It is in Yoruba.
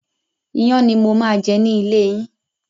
Iyán ni mo máa jẹ ni ilé yín.